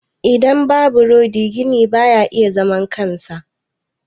Idan babu rodi gini ba ya iya zaman kansa.